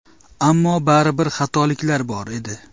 Ammo baribir xatoliklar bor edi.